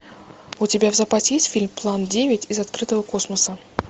у тебя в запасе есть фильм план девять из открытого космоса